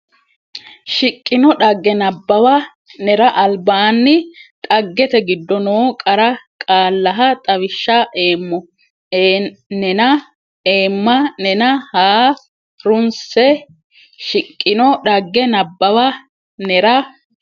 shiqqino dhagge nabbawa nera albaanni dhaggete giddo noo qara qaallaha xawishsha eemmo nena eemma nena ha runse shiqqino dhagge nabbawa nera.